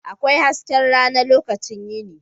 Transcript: Akwai hasken rana lokacin yini.